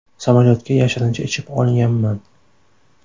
Samolyotga yashirincha ichib olganman.